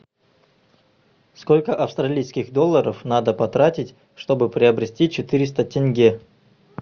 сколько австралийских долларов надо потратить чтобы приобрести четыреста тенге